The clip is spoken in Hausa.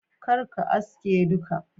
kar ka aske duka.